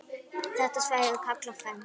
Þetta svæði er kallað Fens.